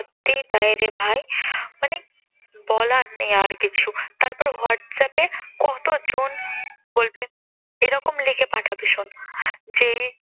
সত্যিই তাই রে ভাই। মানে বলার নেই আর কিছু তারপর WhatsApp এ কতজন বলবে, এরকম লিখে পাঠাতে শোন যে